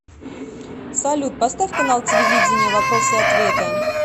салют поставь канал телевидения вопросы и ответы